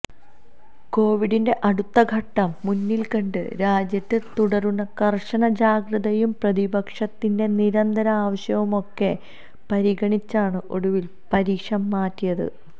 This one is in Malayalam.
കൊവിഡിന്റെ അടുത്ത ഘട്ടം മുന്നിൽകണ്ട് രാജ്യത്ത് തുടരുന്ന കർശന ജാഗ്രതയും പ്രതിപക്ഷത്തിന്റെ നിരന്തര ആവശ്യവുമൊക്കെ പരിഗണിച്ചാണ് ഒടുവിൽ പരീക്ഷ മാറ്റിയത്